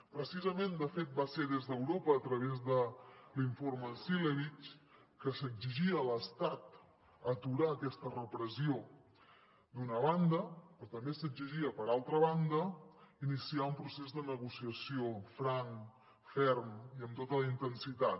precisament de fet va ser des d’europa a través de l’informe cilevics que s’exigia a l’estat aturar aquesta repressió d’una banda però també s’exigia d’altra banda iniciar un procés de negociació franc ferm i amb tota la intensitat